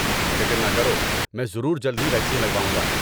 فکر نہ کرو، میں ضرور جلد ہی ویکسین لگواؤں گا۔